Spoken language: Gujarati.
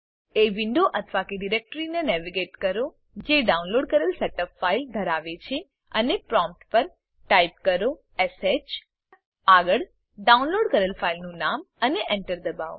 એ વિન્ડો અથવા કે ડીરેક્ટરીને નેવિગેટ કરો જે ડાઉનલોડ કરેલ સેટઅપ ફાઈલ ધરાવે છે અને પ્રોમ્પ્ટ પર ટાઈપ કરો શ આગળ ડાઉનલોડ કરેલ ફાઈલનું નામ અને Enter દબાવો